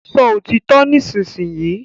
Sọ òtítọ nisinyi!